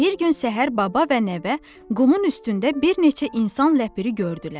Bir gün səhər baba və nəvə qumun üstündə bir neçə insan ləpiri gördülər.